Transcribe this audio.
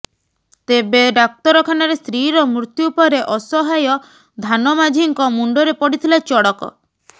ତେବେ ଡାକ୍ତରଖାନାରେ ସ୍ତ୍ରୀର ମୃତ୍ୟୁ ପରେ ଅସହାୟ ଧାନ ମାଝିଙ୍କ ମୁଣ୍ଡରେ ପଡିଥିଲା ଚଡକ